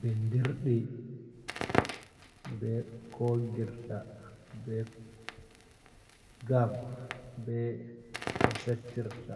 Bindirɗi ɓe ko woggirta ɓe gam, ɓe ko settirta,